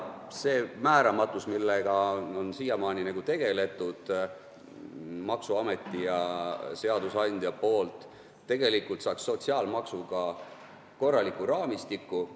See määramatus, mis on siiamaani olnud maksuameti ja seadusandja poolt, saaks sotsiaalmaksu laega korraliku raamistiku.